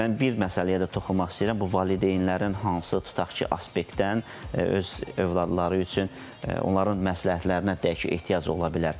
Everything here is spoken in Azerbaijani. Mən bir məsələyə də toxunmaq istəyirəm, bu valideynlərin hansı tutaq ki, aspektdən öz övladları üçün onların məsləhətlərinə, deyək ki, ehtiyac ola bilər.